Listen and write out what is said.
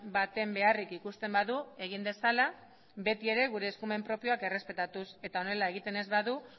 baten beharrik ikusten badu egin dezala beti ere gure eskumen propioak errespetatuz eta honela egiten ez badu